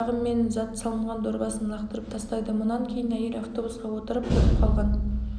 кейін балдағы мен зат салынған дорбасын лақтырып тастайды мұнан кейін әйел автобусқа отырып кетіп қалған